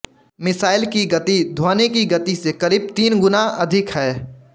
missile की गति ध्वनि की गति से करीब तीन गुना अधिक है